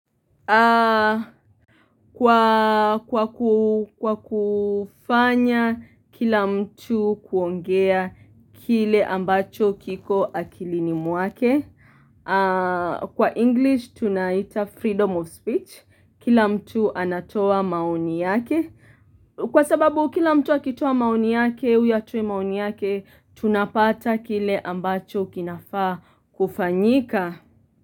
Kwa kufanya kila mtu kuongea kile ambacho kiko akilini mwake Kwa English tunaita freedom of speech Kila mtu anatoa maoni yake Kwa sababu kila mtu akitoa maoni yake, huyu atoe maoni yake, tunapata kile ambacho kinafaa kufanyika.